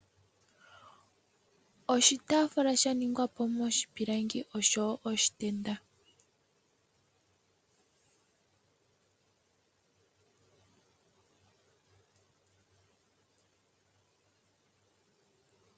Oshitaafula sha ningwa moshipilangi osho wo oshitenda.